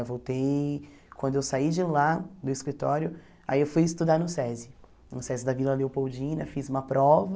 Eu voltei, quando eu saí de lá, do escritório, aí eu fui estudar no SESI, no SESI da Vila Leopoldina, fiz uma prova.